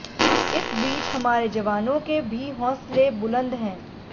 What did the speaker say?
इस बीच हमारे जवानों के भी हौसंले बुलंद हैं